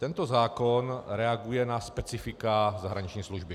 Tento zákon reaguje na specifika zahraniční služby.